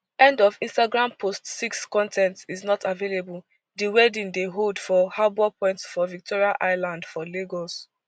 end of instagram post six con ten t is not available di wedding dey hold for harbour point for victoria island for lagos